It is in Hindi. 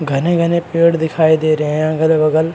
घने घने पेड़ दिखाई दे रहे हैं अगल बगल।